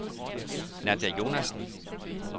Nadia Jonassen